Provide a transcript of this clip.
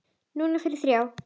Núna fyrir þrjá.